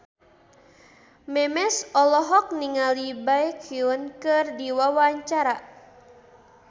Memes olohok ningali Baekhyun keur diwawancara